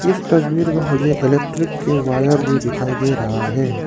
इस तस्वीर में मुझे इलेक्ट्रिक के वायर भी दिखाई दे रहा है।